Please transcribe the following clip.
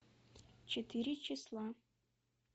четыре числа